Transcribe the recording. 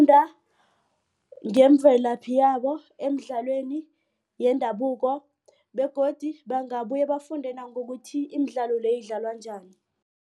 ngemvelaphi yabo emidlalweni yendabuko begodu bangabuye bafunde nangokuthi imidlalo beyidlalwa njani.